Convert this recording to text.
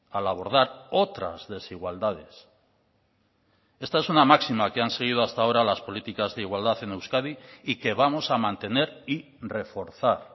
al abordar otras desigualdades esta es una máxima que han seguido hasta ahora las políticas de igualdad en euskadi y que vamos a mantener y reforzar